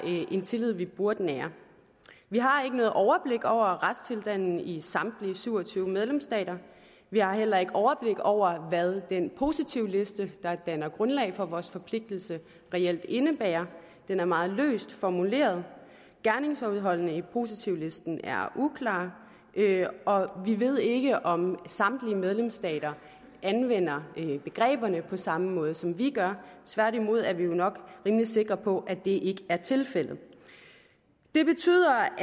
en tillid vi burde nære vi har ikke noget overblik over retstilstanden i samtlige syv og tyve medlemsstater vi har heller ikke noget overblik over hvad den positivliste der danner grundlag for vores forpligtelse reelt indebærer den er meget løst formuleret gerningsindholdet i positivlisten er uklart og vi ved ikke om samtlige medlemsstater anvender begreberne på samme måde som vi gør tværtimod er vi jo nok rimelig sikre på at det ikke er tilfældet det betyder